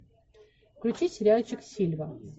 включи сериальчик сильва